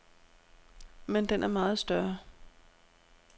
Men den er meget større.